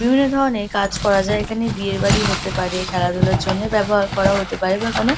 বিভিন্ন ধরনের কাজ করা যায় এখানে বিয়ের বাড়ি হতে পারে খেলাধুলার জন্যে ব্যবহার করা হতে পারে বা কোন--